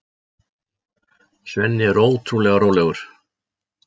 Svenni er ótrúlega rólegur.